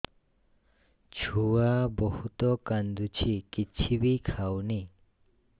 ଛୁଆ ବହୁତ୍ କାନ୍ଦୁଚି କିଛିବି ଖାଉନି